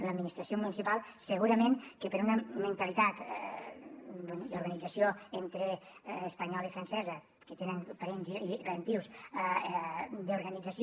l’administració municipal segurament que per una mentalitat d’organització entre espanyola i francesa que tenen parents i parentius d’organització